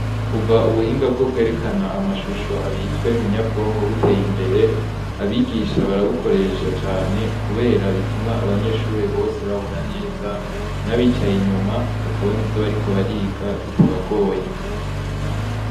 Kuva ubuhinga bwo kwerekana amashusho abizwe munyabwonko buteye imbere abigisha barawukoresha cane, kubera bituma abanyeshure bose babona neza n'abicaye inyuma bakabona ivyo bari ko bariga bitabagoye.